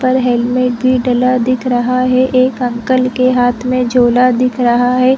पर हेलमेट भी डला दिख रहा है एक अंकल के हाथ में झोला दिख रहा है।